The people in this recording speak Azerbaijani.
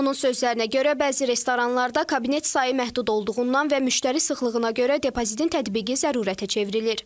Onun sözlərinə görə, bəzi restoranlarda kabinet sayı məhdud olduğundan və müştəri sıxlığına görə depozitin tətbiqi zərurətə çevrilir.